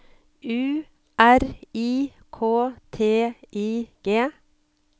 U R I K T I G